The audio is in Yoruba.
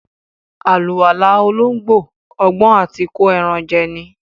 Àlùwàlá olóńgbò, ọgbọ́n àti kó ẹran jẹ ní.